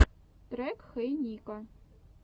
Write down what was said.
трек хей нико